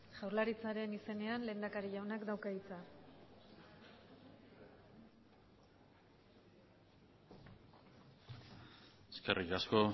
jaurlaritzaren izenean lehendakari jaunak dauka hitza eskerrik asko